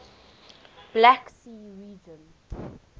black sea region